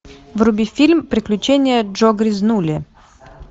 вруби фильм приключения джо грязнули